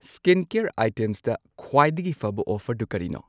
Skincare ꯑꯥꯢꯇꯦꯝꯁꯇ ꯈ꯭ꯋꯥꯏꯗꯒꯤ ꯐꯕ ꯑꯣꯐꯔꯗꯨ ꯀꯔꯤꯅꯣ?